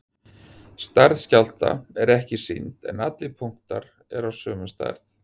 stærð skjálfta er ekki sýnd en allir punktar eru af sömu stærð